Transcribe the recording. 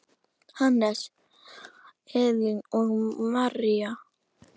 Hannes, Elín og María.